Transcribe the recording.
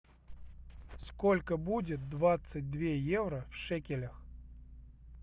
сколько будет двадцать две евро в шекелях